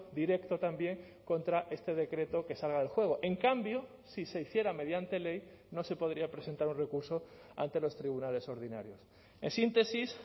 directo también contra este decreto que salga del juego en cambio si se hiciera mediante ley no se podría presentar un recurso ante los tribunales ordinarios en síntesis